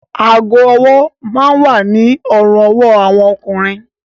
Aago-ọwọ́ máa ń wà ní ọrùn-ọwọ́ àwọn ọkùnrin